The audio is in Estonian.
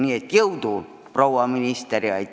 Nii et jõudu, proua minister!